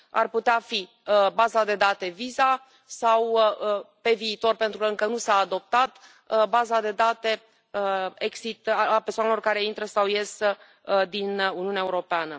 Ar putea fi baza de date Visa sau, pe viitor, pentru că încă nu s a adoptat, baza de date Exit a persoanelor care intră sau ies din Uniunea Europeană.